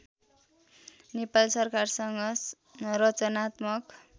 नेपाल सरकारसँग रचनात्मक